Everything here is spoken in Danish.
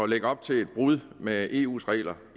lægge op til et brud med eus regler